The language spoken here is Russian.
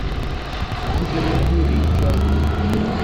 гибель империи часть девять